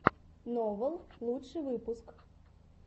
новал лучший выпуск